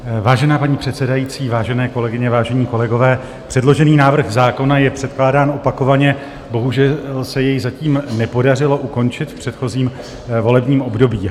Vážená paní předsedající, vážené kolegyně, vážení kolegové, předložený návrh zákona je předkládán opakovaně, bohužel se jej zatím nepodařilo ukončit v předchozím volebním období.